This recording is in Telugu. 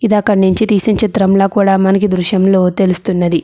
ఇది ఎక్కడ నుంచి తీసిన చిత్రం లాగా కూడా మనకి ఈ దృశ్యంలా తెలుస్తున్నది.